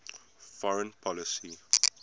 foreign policy